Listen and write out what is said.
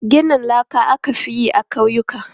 Ginin laka aka fi yi a ƙauyuka.